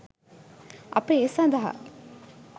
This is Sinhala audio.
අප ඒ සඳහා